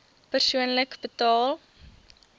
persoonlik betaal